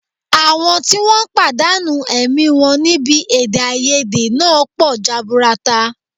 Àwọn tí wọ́n pàdánù ẹ̀mí wọn níbi èdèàìyedè náà pọ̀ jaburata